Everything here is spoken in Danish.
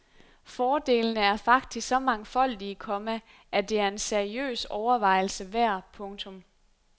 Fordelene er faktisk så mangfoldige, komma at det er en seriøs overvejelse værd. punktum